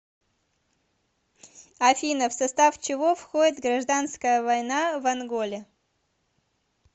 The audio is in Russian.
афина в состав чего входит гражданская война в анголе